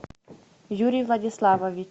юрий владиславович